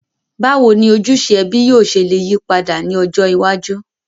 Bàwoni ojúse ẹbí yio se le yípadà ni ọjọ́ iwájú?